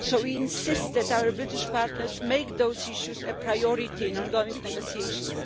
So we insist that our British partners make those issues a priority in ongoing negotiations.